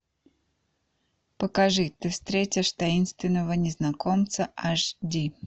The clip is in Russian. покажи ты встретишь таинственного незнакомца аш ди